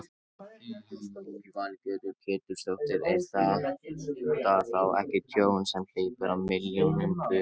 Lillý Valgerður Pétursdóttir: Er þetta þá ekki tjón sem hleypur á milljónum, tugum?